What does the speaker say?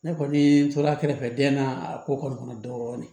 Ne kɔni tora a kɛrɛfɛ den na a ko kɔni kɔnɔ dɔɔnin